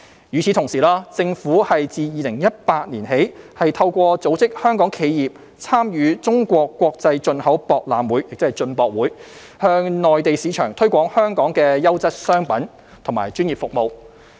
與此同時，政府自2018年起透過組織香港企業參與中國國際進口博覽會，向內地市場推廣香港的優質商品和專業服務。